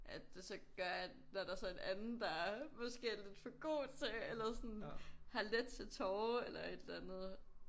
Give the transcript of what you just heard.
At det så gør at når der så er en anden der måske er lidt for god til eller sådan har let til tårer eller et eller andet